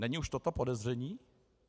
Není už toto podezření?